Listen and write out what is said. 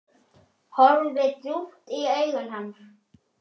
Horfi djúpt í augu hans.